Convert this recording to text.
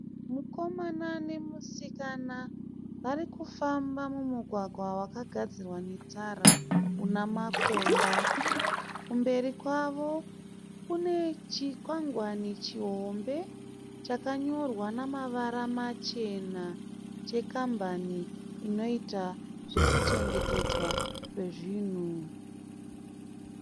Mukomana nemusikana vari kufamba mumugwagwa wakagadzirwa netara una makomba. Kumberi kwavo kune chikwangwani chihombe chakanyorwa nemavara machena chekambani inoita zvekuchengetedzwa kwezvinhu.